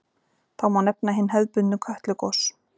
Þá má nefna hin hefðbundnu Kötlugos.